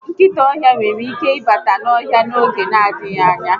Nkịta ọhịa nwere ike ịbata n'ohịa a n'oge n'adịghị anya